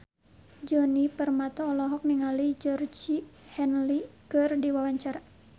Djoni Permato olohok ningali Georgie Henley keur diwawancara